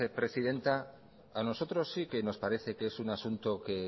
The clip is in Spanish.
presidenta a nosotros sí que nos parece que es un asunto que